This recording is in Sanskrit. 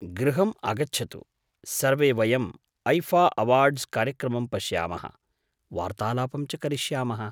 गृहम् आगच्छतु, सर्वे वयम् ऐफ़ा अवार्ड्स् कार्यक्रमं पश्यामः, वार्तालापं च करिष्यामः।